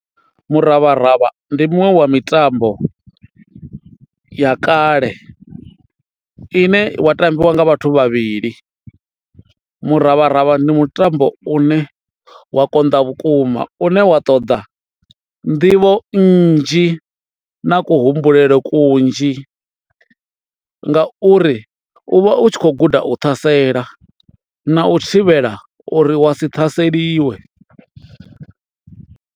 Muravharavha ndi muṅwe wa mitambo ya kale ine wa tambiwa nga vhathu vhavhili. Muravharavha ndi mutambo u ne wa konḓa vhukuma u ne wa ṱoḓa nḓivho nnzhi na ku humbulele kunzhi ngauri u vha u tshi khou guda u ṱhasela na u thivhela uri wa si ṱhaseliwe.